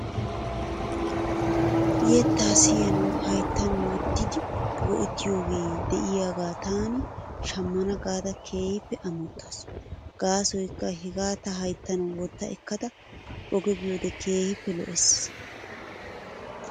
Yettaa siyanawu hayttan wottidi go'ettiyoogee de'iyaagaa taani shammana gaada keehippe amottaas. Gaasoykka hegaa ta hayttan wotta ekkada oge biyoode keehippe lo'ees.